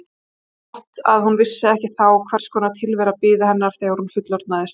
Jafn gott að hún vissi ekki þá hvers konar tilvera biði hennar þegar hún fullorðnaðist.